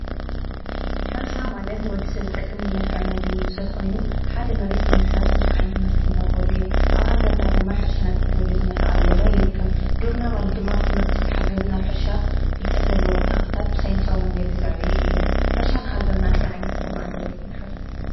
ሕርሻ ማለት ንወዲ ሰብ ዝጠቅም ብመልክዕ ምግቢ ዝስርሑ ኮይኑ ሓደ መሬት ብምሕራስ በዙሕ ዓይነት ምህርቲ እንረክበሉ እዩ፡፡ ኣብ ሃገርና ድማ ሕርሻ ናብ ቴክኖሎጂ እንዳተቀየረ ይርከብ፡፡ ግብርና ማለት ድማ ብትምህርቲ ዝተሓገዘ ናይ ሕርሻ ፍልጠት ዘለዎም ተክለታት ብሳይነሳዊ መንገዲታት ዘዕብዩ እዮም፡፡ ሕርሻ ንሃገርና እንታይ ዓይነት ጥቅሚ ኣለዎ ኢልኩም ትሓስቡ?